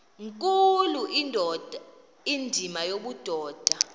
nkulu indima yobudoda